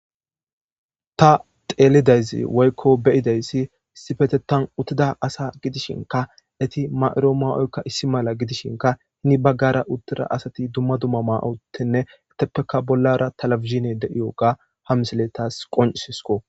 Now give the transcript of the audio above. Ta xeelidayzi woykko beyideyssi sifetetan uttida asa gidishinka eti ma7iro ma7oykka issi mala gidishinka hini baggara uttida asati dumma dumma ma7otenne eteppeka bollara talafizine de7iyoga hamsaletas qonisisko.